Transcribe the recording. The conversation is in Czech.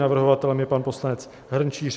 Navrhovatelem je pan poslanec Hrnčíř.